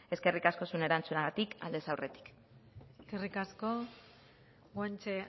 eskerrik asko zure erantzunagatik aldez aurretik eskerrik asko guanche